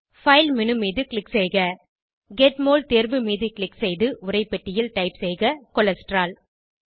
file menu மீது click செய்க get mol தேர்வு மீது க்ளிக் செய்து உரைப்பெட்டியில் டைப் செய்க கோலஸ்டெரால்